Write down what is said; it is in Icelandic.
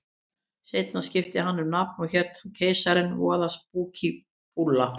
Seinna skipti hann um nafn og hét þá Keisarinn, voða spúkí búlla.